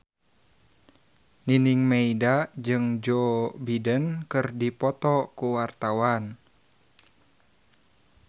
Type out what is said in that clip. Nining Meida jeung Joe Biden keur dipoto ku wartawan